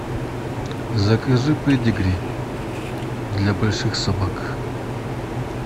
закажи педигри для больших собак